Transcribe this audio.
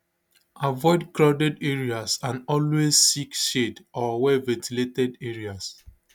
avoid crowded areas and always seek shade or wellventilated areas